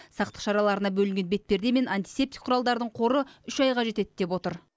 сақтық шараларына бөлінген бетперде мен антисептик құралдардың қоры үш айға жетеді деп отыр